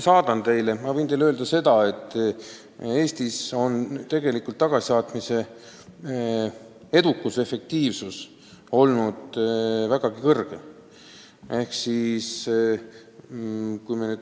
Aga ma võin teile öelda seda, et Eestis on tagasisaatmise edukus ja efektiivsus olnud vägagi kõrge.